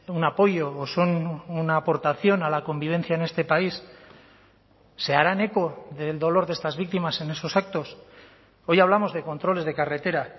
un apoyo son una aportación a la convivencia en este país se harán eco del dolor de estas víctimas en esos actos hoy hablamos de controles de carretera